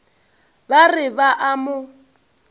ba re ba a mo